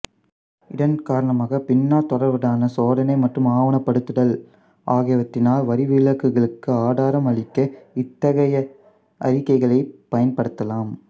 இதன் காரணமாகப் பின்னால் தொடர்வதான சோதனை மற்றும் ஆவணப்படுத்துதல் ஆகியவற்றினால் வரிவிலக்குகளுக்கு ஆதாரம் அளிக்க இத்தகைய அறிக்கைகளைப் பயன்படுத்தலாம்